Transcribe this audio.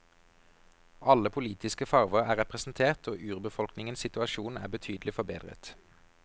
Alle politiske farver er representert, og urbefolkningens situasjon er betydelig forbedret.